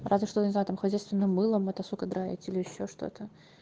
разве что не знаю там хозяйственным мылом это сука драить или ещё что-то